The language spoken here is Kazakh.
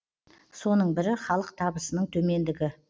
соның бірі халық табысының төмендігі